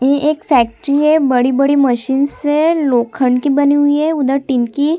ए factory है बड़ी-बड़ी machines है लोखंत बनी हुई है उधर टिन की--